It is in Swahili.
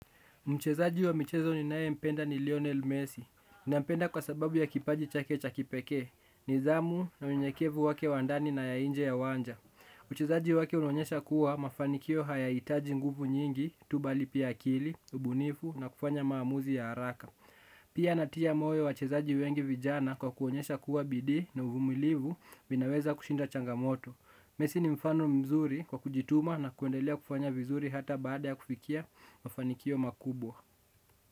Mchezaji wa michezo ninaye mpenda ni Lionel Messi. Nampenda kwa sababu ya kipaji chake cha kipekee. Nizamu na unyenyekevu wake wandani na ya inje ya wanja. Uchezaji wake unonyesha kuwa mafanikio hayaitaji nguvu nyingi, tu bali pia akili, ubunifu na kufanya maamuzi ya haraka. Pia anatia moyo wachezaji wengi vijana kwa kuonyesha kua bidii na uvumilivu vinaweza kushinda changamoto. Messi ni mfano mzuri kwa kujituma na kuendelea kufanya vizuri hata baada ya kufikia mafanikio makubwa.